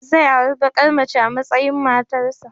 Zai auri bakar mace a matsayin matarsa